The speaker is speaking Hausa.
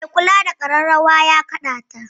Mai kula da ƙararrawa ya kaɗa ta